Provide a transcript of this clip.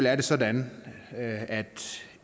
er det sådan at